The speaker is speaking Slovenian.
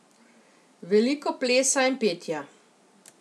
Veliko plesa in petja.